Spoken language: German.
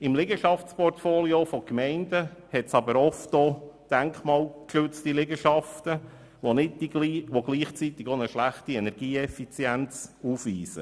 Im Liegenschaftsportfolio der Gemeinden befinden sich aber oftmals denkmalgeschützte Liegenschaften, die gleichzeitig eine schlechte Energieeffizienz aufweisen.